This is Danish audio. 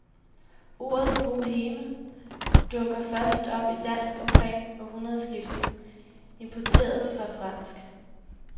Ordet boheme dukker først op i dansk omkring århundredskiftet, importeret fra fransk.